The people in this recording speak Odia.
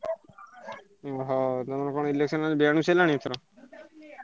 ଓହୋ! ତମର କଣ election ରେ ସଇଲାଣି ଏଥର?